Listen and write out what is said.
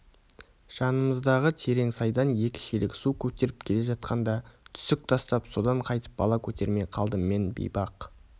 жанымыздағы терең сайдан екі шелек су көтеріп келе жатқанда түсік тастап содан қайтып бала көтермей қалдым мен бейбақ